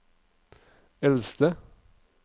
eldste